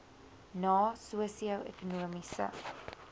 na sosio ekonomiese